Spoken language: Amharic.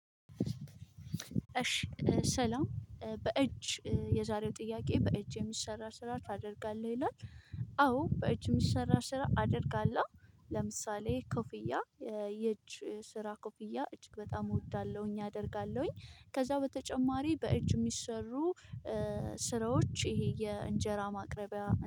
እሺ ሰላም በእጅ የዛሬው ጥያቄ በእጅ የሚሰራ ስራ ታደርጋለህ ይላል? አዎ በእጅ ምሰራ ስራ አደርጋለሁ። ለምሳሌ ኮፍያ የእጅ ስራ ኮፊያ እጅግ በጣም እወዳለሁኝ አደርጋለሁኝ። ከዛ በተጨማሪ በእጅ የሚሰሩ ስራዎች ይሄ የእንጀራ ማቅረቢያ